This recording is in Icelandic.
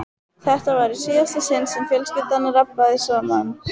Þetta var í síðasta sinn sem fjölskyldan rabbaði saman.